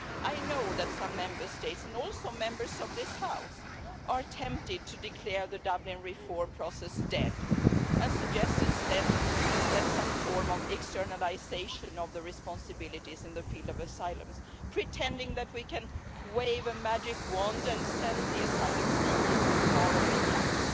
I know that some Member States and also Members of this House are tempted to declare the Dublin reform process dead and suggest instead some form of externalisation of responsibilities in the field of asylum, pretending that we can wave a magic wand and send the asylum seekers to faraway camps,